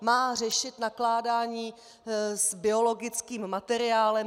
Má řešit nakládání s biologickým materiálem.